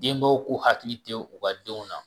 Denbaw k'u hakili to u ka denw na